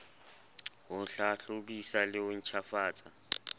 ho hlahlobisa le ho ntjhafatsa